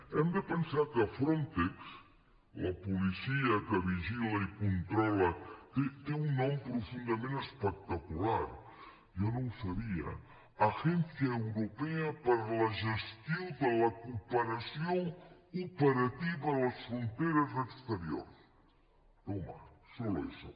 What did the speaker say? hem de pensar que frontex la policia que vigila i controla té un nom profundament espectacular jo no ho sabia agència europea per a la gestió de la cooperació operativa a les fronteres exteriors toma solo eso